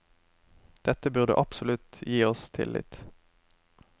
Dette burde absolutt gi oss tillit.